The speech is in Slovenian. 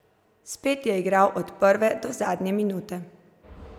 Spet je igral od prve do zadnje minute.